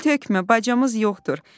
Dil tökmə, bacamız yoxdur.